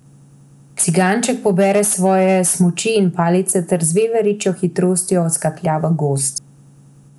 Ciganček pobere svoje smuči in palice ter z veveričjo hitrostjo odskaklja v gozd.